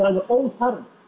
alveg óþarfi